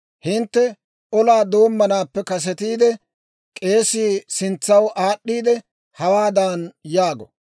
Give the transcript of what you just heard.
Hintte olaa doommanaappe kasetiide, k'eesii sintsaw aad'd'iide hawaadan yaago;